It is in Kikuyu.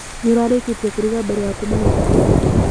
Nĩũrarĩkĩtie kũruga mbere ya kuma na bikibiki?